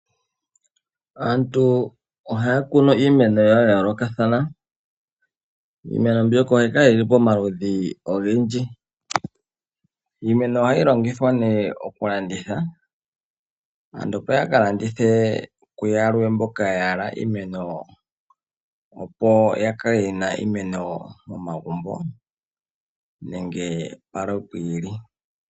Aantu ohaya kunu iimeno yawo ya yoolokathana, iimeno mbyoka ohayi kala yili pomaludhi ogendji. Iimeno ohayi longithwa nee okulanditha aantu opo yaka landithe kuyalwe mboka yahala iimeno, opo yakale yena iimeno momagumbo nenge palwe pwi ili.